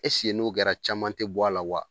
n'o kɛra caman tɛ bɔ a la wa?